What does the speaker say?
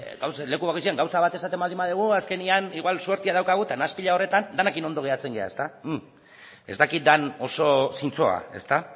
leku bakoitzean gauza bat esaten badugu azkenean igual suertea daukagu eta nahaspila horretan denekin ondo geratzen gara ezta ez dakit den oso zintzoa ezta